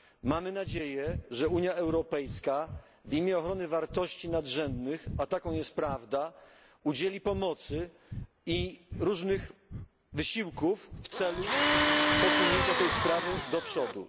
Mamy nadzieję, że Unia Europejska w imię ochrony wartości nadrzędnych, a taką jest prawda udzieli pomocy i wesprze różne wysiłki w celu posunięcia tej sprawy do przodu.